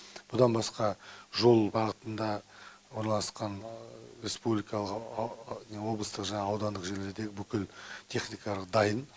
бұдан басқа жол бағытында орналасқан республикалық облыстық жаңағы аудандық жерлерде бүкіл техникалары дайын